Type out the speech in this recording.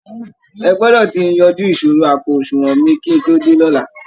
Ẹ gbọdọ̀ ti yanjú ìṣòro àpò àsunwọ̀n mi kí n tó dé lọ́la!